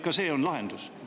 Ka see on lahendus.